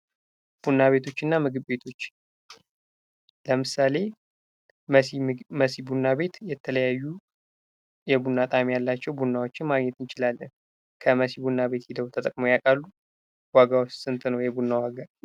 ቡና ቤቶችና ምግብ ቤቶች ለምሳሌ መሲ ቡና ቤት የተለያዩ የቡና ጣእም ያላቸው ቡናዎችን ማግኘት እንችላለን። ከመሲ ቡና ቤት ሂደው ተጠቃመው ያውቃሉ? ዋጋውስ ስንት ነው የቡናው ዋጋ?